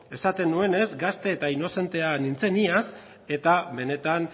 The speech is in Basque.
esaten nuenez gazte eta inozente nintzen iaz eta benetan